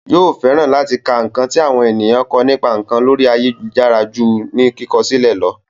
Yóò fẹ́ràn láti ka ǹkan tí àwọn ènìyàn kọ nípa ǹkan lórí ayélujára ju ní kíkọ sílẹ̀ lọ